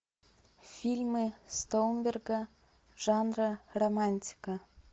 фильмы стоунберга жанра романтика